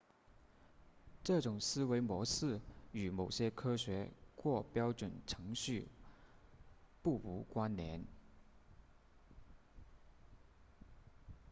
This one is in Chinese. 这种思维模式与某些科学或标准程序不无关联